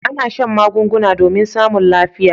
A'na shan magunguna domin samun lafiya.